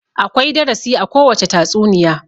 Akwai darasi a kowacce tatsuniya.